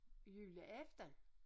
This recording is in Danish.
Julen efter